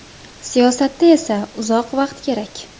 Siyosatda esa uzoq vaqt kerak.